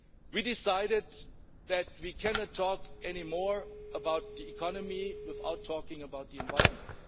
We decided that we cannot talk anymore about the economy without talking about the environment.